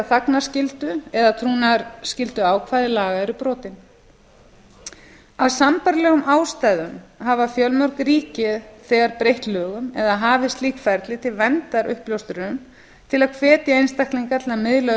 þagnarskyldu eða trúnaðarskylduákvæði laga eru brotin af sambærilegum ástæðum hafa fjölmörg ríki þegar breytt lögum eða hafið slíkt ferli til verndar uppljóstrurum til að hvetja einstaklinga til að miðla